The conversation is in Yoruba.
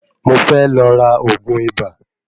Mo fe lọ ra ògún ibà.